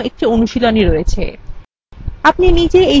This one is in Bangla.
এখানে আপনার জন্য একটি অনুশীলনী আছে